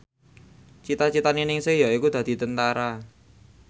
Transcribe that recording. cita citane Ningsih yaiku dadi Tentara